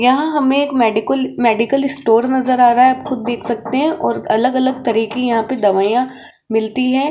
यहां हमें एक मेडिकल मेडिकल स्टोर नजर आ रहा है और आप खुद देख सकते हैं और अलग अलग तरीह के यहां पर दवाइयां मिलती है।